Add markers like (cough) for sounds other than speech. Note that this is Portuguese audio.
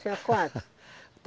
(laughs) Tinha quantos?